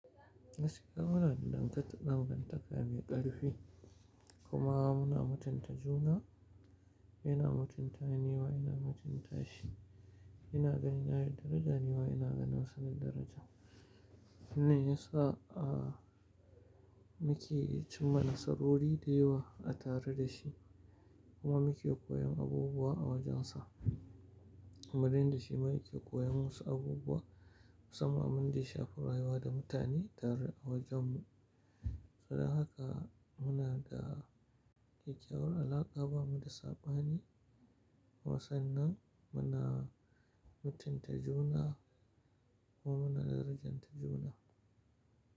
Gaskiya muna da dankata dangantaka mai ƙarfi kuma muna mutunta juna, yana mutunta ni nima ina mutunta shi. Yana ganina da daraja ni ma ina ganin sa da daraja. Wannan ya sa a muke cim ma nasarori da yawa a tare da shi kuma muke koyan abubuwa a wajensa. Kuma dai in da shi ma yake koyan wasu abubuwa musamman abin da ya shafi rayuwa da mutane tare a wajen mu. Ai haka muna da ƙyaƙƙyawar alaƙa ba mu da saɓani kuma sannan muna mutunta juna kuma muna darajanta juna.